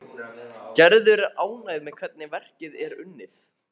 Gerður er ánægð með hvernig verkið er unnið.